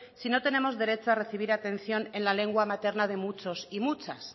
si no tenemos derecho a recibir atención en la lengua materna de muchos y muchas